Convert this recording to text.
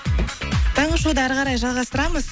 таңғы шоуды ары қарай жалғастырамыз